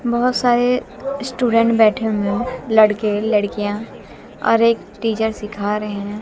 बहोत सारे स्टूडेंट बैठे हुए है लड़के लड़कियां और एक टीचर सीखा रहे हैं।